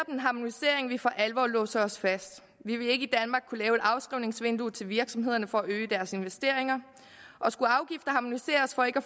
en harmonisering vil for alvor låse os fast vi vil ikke i afskrivningsvindue til virksomhederne for at øge deres investeringer og skulle afgifter harmoniseres for ikke at